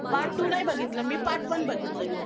part two नाही बघितलं मी part one बघितलंय मी